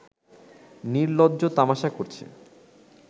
নিলর্জ্জ তামাশা করছে